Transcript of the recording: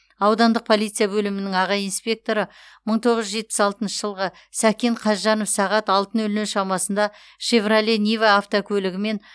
аудандық полиция бөлімінің аға инспекторы мың тоғыз жүз жетпіс алтыншы жылғы сәкен қазжанов сағат алты нөл нөл шамасында шевроле нива автокөлігімен